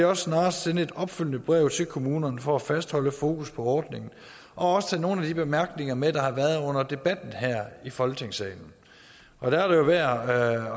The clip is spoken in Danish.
også snarest sende et opfølgende brev til kommunerne for at fastholde fokus på ordningen og også tage nogle af de bemærkninger med der har været under debatten her i folketingssalen og der er det værd at